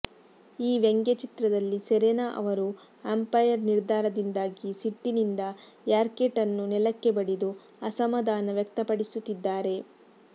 ಈ ವ್ಯಂಗ್ಯಚಿತ್ರದಲ್ಲಿ ಸೆರೆನಾ ಅವರು ಅಂಪೈರ್ ನಿರ್ಧಾರದಿಂದಾಗಿ ಸಿಟ್ಟಿನಿಂದ ರ್ಯಾಕೆಟ್ ಅನ್ನು ನೆಲಕ್ಕೆ ಬಡಿದು ಅಸಮಾಧಾನ ವ್ಯಕ್ತಪಡಿಸುತ್ತಿದ್ದಾರೆ